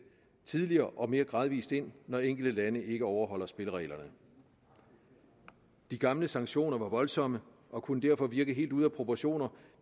tidligere og mere gradvist ind når enkelte lande ikke overholder spillereglerne de gamle sanktioner var voldsomme og kunne derfor virke helt ude af proportioner